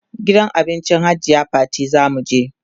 gidan abincin hajiya Fatima zamu je